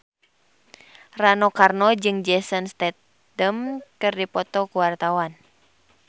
Rano Karno jeung Jason Statham keur dipoto ku wartawan